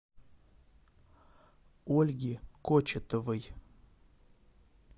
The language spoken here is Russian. ольги кочетовой